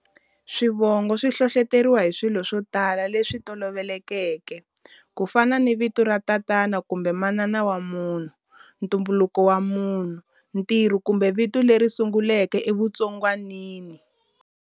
Swivongo swi hlohloteriwa hi swilo swo tala leswi tolovelekeke, ku fana ni vito ra tatana kumbe manana wa munhu, ntumbuluko wa munhu, ntirho, kumbe vito leri sunguleke evutsongwanini.